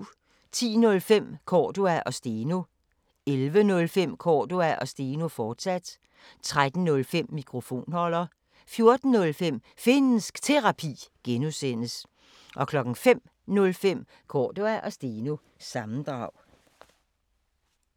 10:05: Cordua & Steno 11:05: Cordua & Steno, fortsat 13:05: Mikrofonholder 14:05: Finnsk Terapi (G) 05:05: Cordua & Steno – sammendrag